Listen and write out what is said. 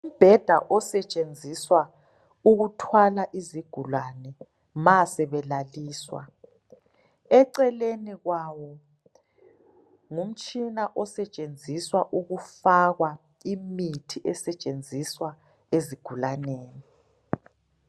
Umbheda esetshenziswa ukuthwala izigulane ma sebelaliswa. Eceleni kwawo ngumtshina esetshenziswa ukufakwa imithi esetshenziswa ezigulaneni.